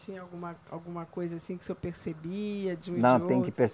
Tinha alguma alguma coisa assim que o senhor percebia de um e de outro?